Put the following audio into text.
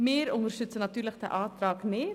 Wir unterstützen diesen Antrag nicht.